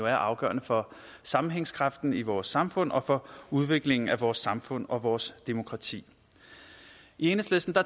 er afgørende for sammenhængskraften i vores samfund og for udviklingen af vores samfund og vores demokrati i enhedslisten